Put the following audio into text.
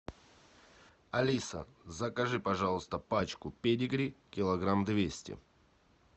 алиса закажи пожалуйста пачку педигри килограмм двести